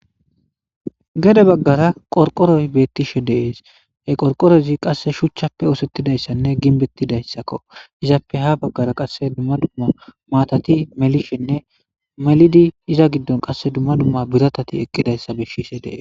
Gede bagara qorqoroy beetishe dees he qorqorozi qase shuchappe oosetidaysanne gimbetidaysako izappe ha bagara qase duma duma maatati melishenne melidi iza gidon qase biratati eqidaysa besses.